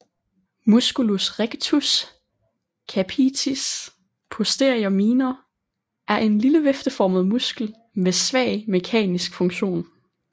Musculus rectus capitis posterior minor er en lille vifteformet muskel med svag mekanisk funktion